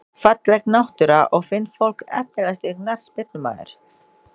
Falleg náttúra og fínt fólk Efnilegasti knattspyrnumaður?